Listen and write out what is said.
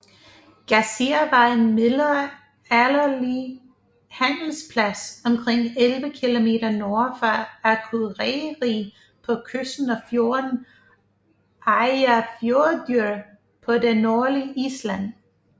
Gásir var en middelalderlig handelsplads omkring 11 km nord for Akureyri på kysten af fjorden Eyjafjörður på det nordlige Island